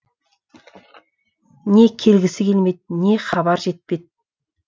не келгісі келмеді не хабар жетпеді